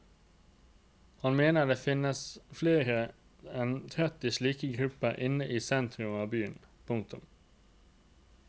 Han mener det finnes flere enn tretti slike grupper inne i sentrum av byen. punktum